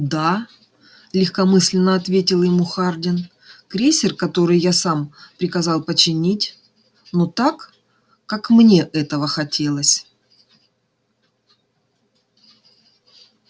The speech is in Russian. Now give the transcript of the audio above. да легкомысленно ответил ему хардин крейсер который я сам приказал починить но так как мне этого хотелось